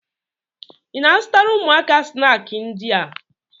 Ị na-azụtara ụmụaka snaakị ndị a?